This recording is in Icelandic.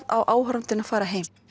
á áhorfandinn að fara heim